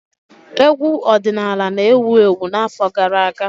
Egwu ọdịnala na-ewu ewu n'afọ gara aga.